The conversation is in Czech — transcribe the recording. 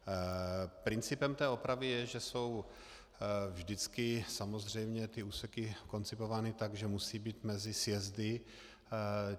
Principem té opravy je, že jsou vždycky samozřejmě ty úseky koncipovány tak, že musí být mezi sjezdy.